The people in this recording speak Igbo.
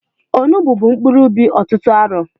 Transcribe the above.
Onugbu bụ mkpuru ubi ọtụtụ arọ